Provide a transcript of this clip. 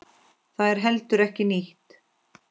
Það er heldur ekki nýtt.